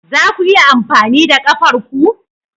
Za ku iya amfani da kafar ku?